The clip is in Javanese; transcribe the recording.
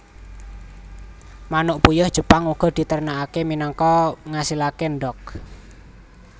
Manuk puyuh Jepang uga diternakake minangka ngasilake endhog